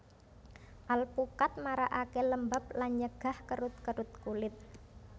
Alpukat marakaké lembab lan nyegah kerut kerut kulit